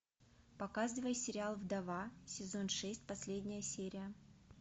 показывай сериал вдова сезон шесть последняя серия